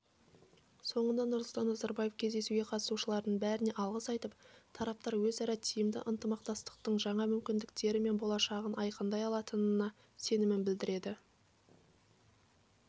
соңында нұрсұлтан назарбаев кездесуге қатысушылардың бәріне алғыс айтып тараптар өзара тиімді ынтымақтастықтың жаңа мүмкіндіктері мен болашағын айқындай алатынына сенім білдірді